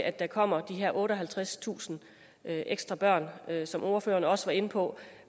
at der kommer de her otteoghalvtredstusind ekstra børn som ordføreren også var inde på